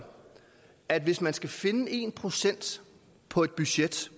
at hvis man skal finde en procent på et budget